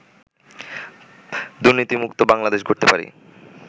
দুর্নীতিমুক্ত বাংলাদেশ গড়তে পারি